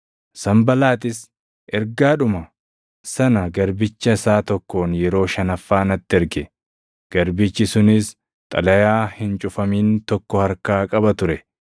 Sanbalaaxis ergaadhuma sana garbicha isaa tokkoon yeroo shanaffaa natti erge; garbichi sunis xalayaa hin cufamin tokko harkaa qaba ture.